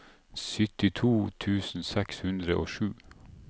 syttito tusen seks hundre og sju